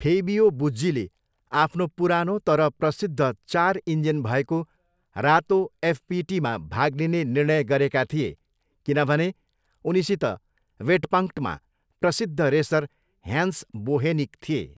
Fabio बुज्जीले आफ्नो पुरानो तर प्रसिद्ध चार इन्जिन भएको रातो एफपिटीमा भाग लिने निर्णय गरेका थिए, किनभने उनीसित वेटपङ्क्टमा प्रसिद्ध रेसर ह्यान्स बोहेनिक थिए।